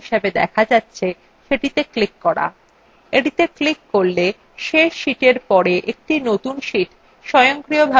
এটিত়ে click করলে এই series শেষ sheetএর পরে একটি নতুন sheet স্বয়ংক্রিয়ভাবে যুক্ত হয়ে যায়